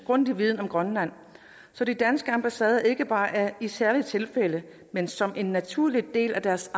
grundig viden om grønland så de danske ambassader ikke bare i særlige tilfælde men som en naturlig del af deres